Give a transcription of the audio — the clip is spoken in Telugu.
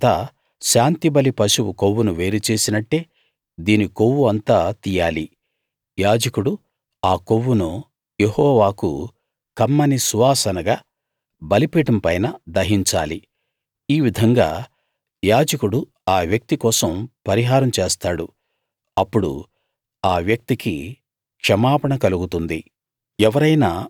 తరువాత శాంతిబలి పశువు కొవ్వును వేరు చేసినట్టే దీని కొవ్వు అంతా తీయాలి యాజకుడు ఆ కొవ్వును యెహోవాకు కమ్మని సువాసనగా బలిపీఠం పైన దహించాలి ఈ విధంగా యాజకుడు ఆ వ్యక్తి కోసం పరిహారం చేస్తాడు అప్పుడు ఆ వ్యక్తికి క్షమాపణ కలుగుతుంది